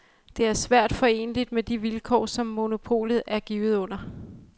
Det er svært foreneligt med de vilkår, som monopolet er givet under.